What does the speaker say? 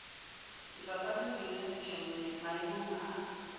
dipapadi le boithabišo maemong a